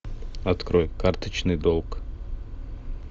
открой карточный долг